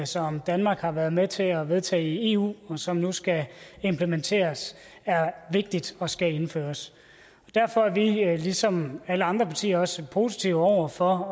som danmark har været med til at vedtage i eu og som nu skal implementeres er vigtigt og skal indføres og derfor er vi ligesom alle andre partier også positive over for